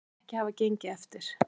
Það virðist ekki hafa gengið eftir